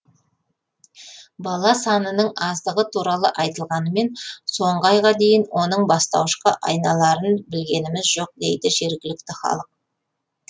бала санының аздығы туралы айтылғанымен соңғы айға дейін оның бастауышқа айналарын білгеніміз жоқ дейді жергілікті халық